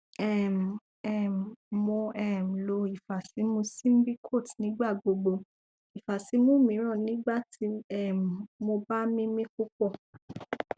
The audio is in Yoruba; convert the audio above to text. um um mo um lo ifasimu symbicort nigbagbogbo ifasimu miiran nigbati um mo ba mimi pupọ